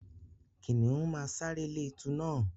Kìnìún máa sáré lé ẹtù na.